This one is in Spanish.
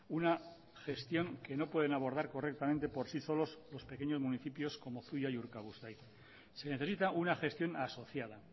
una gestión que no pueden abordar correctamente por sí solos los pequeños municipios como zuia y urkabustaiz se necesita una gestión asociada